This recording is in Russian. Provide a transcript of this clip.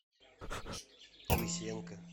лысенко